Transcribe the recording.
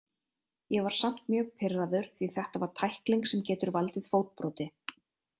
Ég var samt mjög pirraður því þetta var tækling sem getur valdið fótbroti.